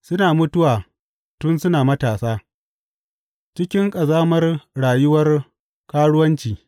Suna mutuwa tun suna matasa, cikin ƙazamar rayuwar karuwanci.